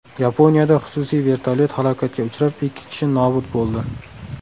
Yaponiyada xususiy vertolyot halokatga uchrab, ikki kishi nobud bo‘ldi.